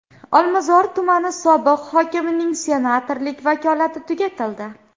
Olmazor tumani sobiq hokimining senatorlik vakolati tugatildi.